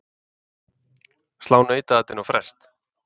Slá nautaatinu á frest?